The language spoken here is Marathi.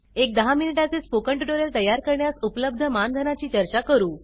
एक दहा मिनिटा चे स्पोकन ट्युटोरियल तयार करण्यास उपलब्ध मानधनाची चर्चा करू